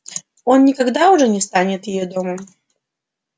он уже никогда не станет её домом